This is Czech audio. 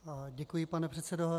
Děkuji, pane předsedo.